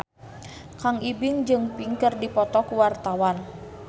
Kang Ibing jeung Pink keur dipoto ku wartawan